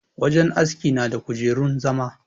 Wajen aski na da kujerun zama.